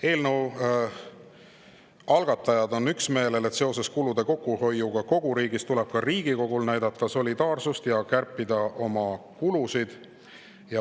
Eelnõu algatajad on üksmeelel, et seoses kulude kokkuhoiuga kogu riigis tuleb ka Riigikogul üles näidata solidaarsust ja kärpida oma kulusid.